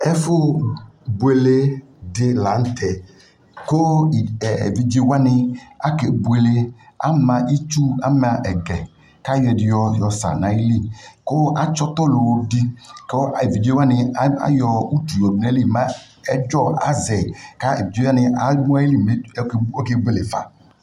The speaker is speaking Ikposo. Ɛfo bueɔe de lantɛ, ko ɛɛ evidze wane akɛ bueleAma itsu, ama ɛgɛ kayɔ ɛde yɔsa na yili ko atse ɔtɔ lowo de ko evidze qane aka yɔ